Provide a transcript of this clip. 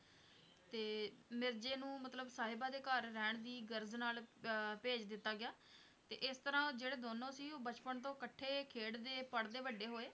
ਤੇ ਮਿਰਜ਼ੇ ਨੂੰ ਮਤਲਬ ਸਾਹਿਬਾਂ ਦੇ ਘਰ ਰਹਿਣ ਦੀ ਗ਼ਰਜ਼ ਨਾਲ ਅਹ ਭੇਜ ਦਿੱਤਾ ਗਿਆ, ਤੇ ਇਸ ਤਰ੍ਹਾਂ ਜਿਹੜੇ ਦੋਨੋਂ ਸੀ ਉਹ ਬਚਪਨ ਤੋਂ ਇਕਠੇ ਖੇਡਦੇ ਪੜ੍ਹਦੇ ਵੱਡੇ ਹੋਏ